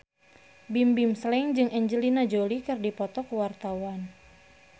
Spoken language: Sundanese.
Bimbim Slank jeung Angelina Jolie keur dipoto ku wartawan